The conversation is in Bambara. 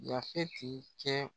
Yafeti kɛ